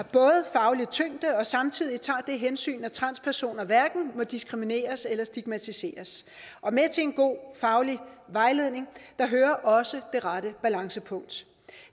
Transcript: faglig tyngde og samtidig tager det hensyn at transpersoner hverken må diskrimineres eller stigmatiseres og med til en god faglig vejledning hører også det rette balancepunkt